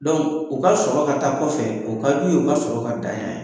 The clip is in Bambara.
u ka sɔrɔ ka taa kɔfɛ, o kad'u ye u ka sɔrɔ ka dan yan.